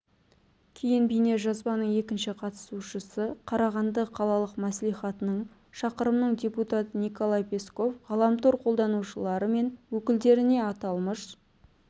кейін бейнежазбаның екінші қатысушысы қарағанды қалалық мәслихатының шақырымның депутаты николай песков ғаламтар қолданушылары мен өкілдеріне аталмыш